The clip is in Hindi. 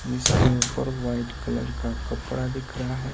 जिसके ऊपर व्हाइट कलर का कपड़ा दिख रहा है।